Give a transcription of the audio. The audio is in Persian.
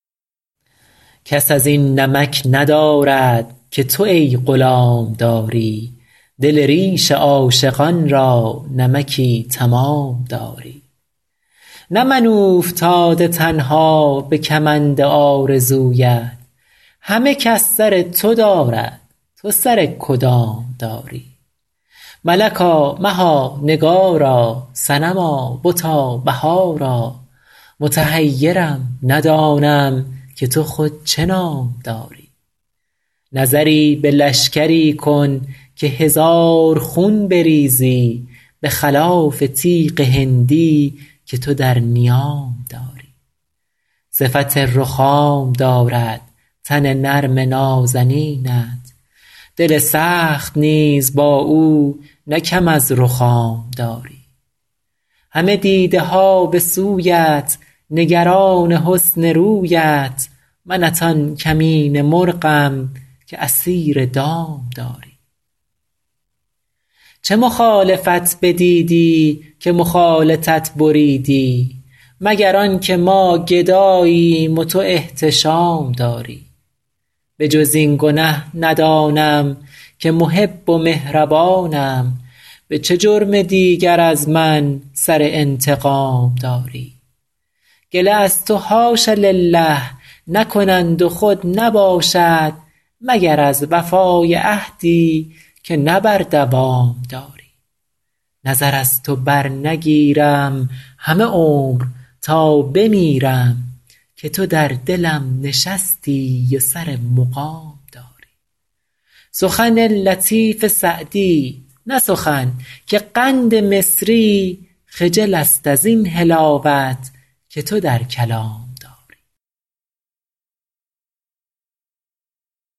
کس از این نمک ندارد که تو ای غلام داری دل ریش عاشقان را نمکی تمام داری نه من اوفتاده تنها به کمند آرزویت همه کس سر تو دارد تو سر کدام داری ملکا مها نگارا صنما بتا بهارا متحیرم ندانم که تو خود چه نام داری نظری به لشکری کن که هزار خون بریزی به خلاف تیغ هندی که تو در نیام داری صفت رخام دارد تن نرم نازنینت دل سخت نیز با او نه کم از رخام داری همه دیده ها به سویت نگران حسن رویت منت آن کمینه مرغم که اسیر دام داری چه مخالفت بدیدی که مخالطت بریدی مگر آن که ما گداییم و تو احتشام داری به جز این گنه ندانم که محب و مهربانم به چه جرم دیگر از من سر انتقام داری گله از تو حاش لله نکنند و خود نباشد مگر از وفای عهدی که نه بر دوام داری نظر از تو برنگیرم همه عمر تا بمیرم که تو در دلم نشستی و سر مقام داری سخن لطیف سعدی نه سخن که قند مصری خجل است از این حلاوت که تو در کلام داری